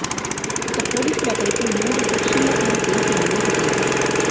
ఇక పోలీసులు అతడిపై మూడు సెక్షన్ల కింద కేసు నమోదు చేశారు